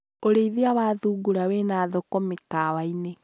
ũrĩithia wa thungura wĩna thoko mĩkawa-inĩ